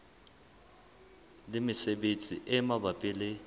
le mesebetsi e mabapi le